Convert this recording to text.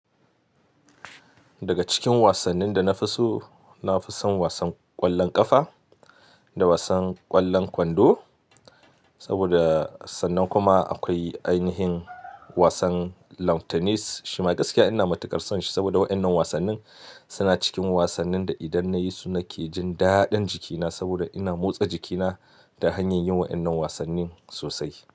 Daga cikin wasannin da na fi so, na fi son wasan ƙwallon ƙafa da wasan ƙwallon kwando. Saboda sannan kuma akwai ainihin wasan Lawn Tennis. Shima gaskiya ina matuƙar son shi saboda waɗannan wasannin suna cikin wasannin da idan nayi su nake jin daɗin jikina saboda ina motsa jikina ta hanyar yin waɗannan wasannin sosai.